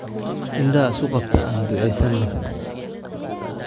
Indhaha isku qabtaa aan duceesane